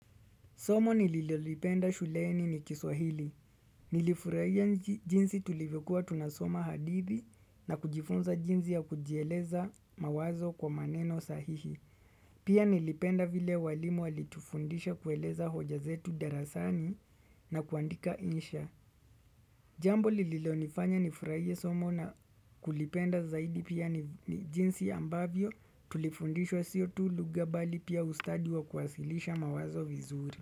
Somo nililolipenda shuleni ni kiswahili. Nilifurahia jinsi tulivyokua tunasoma hadithi na kujifunza jinsi ya kujieleza mawazo kwa maneno sahihi. Pia nilipenda vile walimu walitufundisha kueleza hoja zetu darasani na kuandika insha. Jambo lililonifanya nifurahie somo na kulipenda zaidi pia ni jinsi ambavyo tulifundishwa sio tu lugha bali pia ustadi wa kuwasilisha mawazo vizuri.